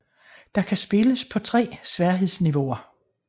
Der kan spilles på tre sværhedsniveauer